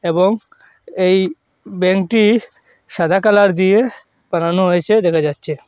এবং এই ব্যাঙ্কটি সাদা কালার দিয়ে বানানো হয়েছে দেখা যাচ্ছে।